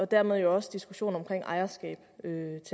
dermed også diskussionen om ejerskab